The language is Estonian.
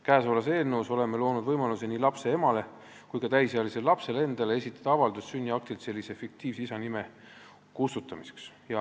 Käesolevas eelnõus oleme nii lapse emale kui ka täisealisele lapsele endale loonud võimaluse esitada avaldus sünniaktilt isa fiktiivse nime kustutamiseks.